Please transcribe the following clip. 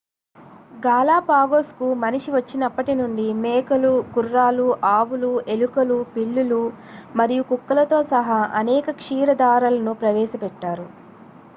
గాలాపాగోస్కు మనిషి వచ్చినప్పటి నుండి మేకలు గుర్రాలు ఆవులు ఎలుకలు పిల్లులు మరియు కుక్కలతో సహా అనేక క్షీరదాలను ప్రవేశపెట్టారు